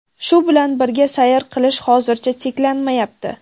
Shu bilan birga sayr qilish hozircha cheklanmayapti.